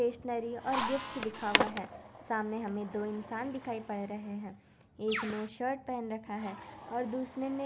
stationery और gifts लिखा हुआ ही सामने हम दो इंसान दिखाई दे रहे है एक ने शर्ट पहन रखा है और दुसरे ने --